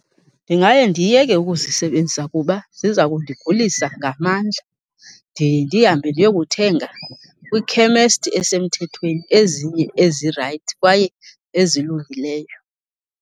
Ndingaye ndiyeke ukuzisebenzisa kuba ziza kundigulisa ngamandla. Ndiye ndihambe ndiyokuthenga kwikhemesti esemthethweni ezinye ezirayithi kwaye ezilungileyo.